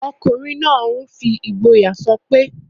Ọkùnrin náà n fi ìgboyà sọpé...